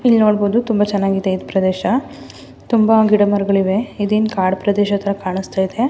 ಇಲ್ ನೋಡಬಹುದು ತುಂಬಾ ಚೆನ್ನಾಗಿದೆ ಇಲ್ ಪ್ರದೇಶ ತುಂಬಾ ಗಿಡ ಮರಗಳಿವೆ ಇದೇನ್ ಕಾಡ್ ಪ್ರದೇಶ ತರ ಕಾಣಿಸ್ತಾ ಇದೆ.